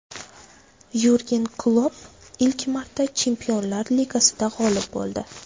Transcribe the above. Yurgen Klopp ilk marta Chempionlar Ligasida g‘olib bo‘ldi.